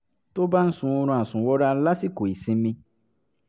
tó bá ń sun oorun àsùnwọra lásìkò ìsinmi